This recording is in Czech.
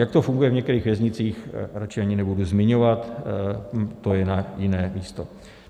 Jak to funguje v některých věznicích, radši ani nebudu zmiňovat, to je na jiné místo.